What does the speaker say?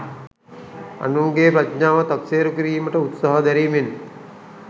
අනුන්ගේ ප්‍රඥාව තක්සේරු කිරීමට උත්සහ දැරීමෙන්